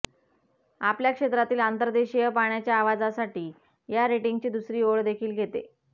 आपल्या क्षेत्रातील अंतर्देशीय पाण्याच्या आवाजासाठी या रेटिंगची दुसरी ओळ देखील घेते